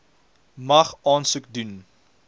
mag aansoek doen